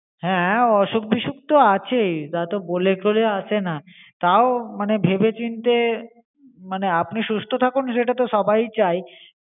হ্যা অসুখ বিসুখ তো আছেই, তা তো বলে করে আসে না, তাও মানে ভেবে চিনতে আপনি সুস্থ থাকুন‌ এটাতো সবাই চায়